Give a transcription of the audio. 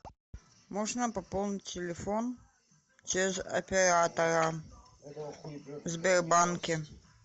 можно пополнить телефон через оператора в сбербанке